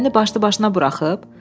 o gəmini başlı-başına buraxıb?